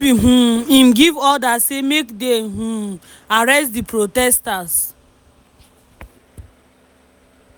no be um im give order say make dey um arrest di protesters.